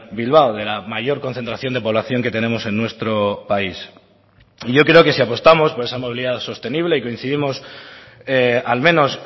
bilbao de la mayor concentración de población que tenemos en nuestro país y yo creo que si apostamos por esa movilidad sostenible y coincidimos al menos